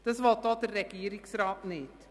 Das will auch der Regierungsrat nicht.